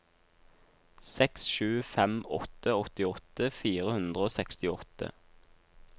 seks sju fem åtte åttiåtte fire hundre og sekstiåtte